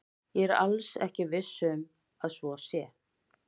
Ég er alls ekki viss um að svo sé.